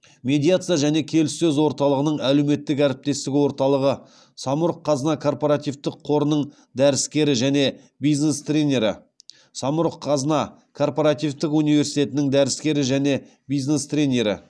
медиация және келіссөз орталығының әлеуметтік әріптестік орталығы самұрық қазына коорпоративтік қорының дәріскері және бизнес тренері самұрық қазына коорпоративтік университетінің дәріскері және бизнес тренері